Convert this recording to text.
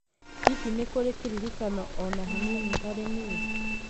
Hihi nĩ kũrĩ kĩririkano o na hanini harĩ niĩ